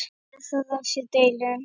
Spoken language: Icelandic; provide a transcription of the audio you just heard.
Ber það á sér delinn.